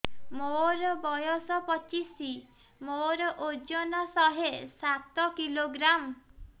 ମୋର ବୟସ ପଚିଶି ମୋର ଓଜନ ଶହେ ସାତ କିଲୋଗ୍ରାମ